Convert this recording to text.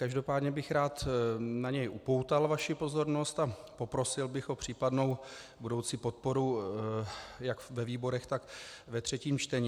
Každopádně bych rád na něj upoutal vaši pozornost a poprosil bych o případnou budoucí podporu jak ve výborech, tak ve třetím čtení.